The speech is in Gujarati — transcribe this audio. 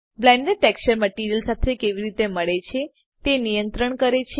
બ્લેન્ડ ટેક્સચર મટીરીઅલ સાથે કેવી રીતે મળે છે તે નિયત્રણ કરે છે